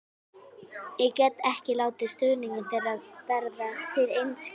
Ég get ekki látið stuðning þeirra verða til einskis.